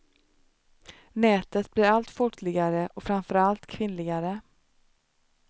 Nätet blir allt folkligare och framförallt allt kvinnligare.